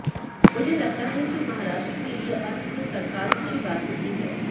मुझे लगता है कि महाराष्ट्र के लिए अस्थिर सरकार अच्छी बात नहीं है